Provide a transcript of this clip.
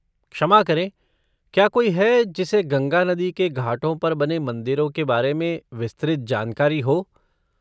क्षमा करें, क्या कोई है, जिसे गंगा नदी के घाटों पर बने मंदिरों के बारे में विस्तृत जानकारी हो?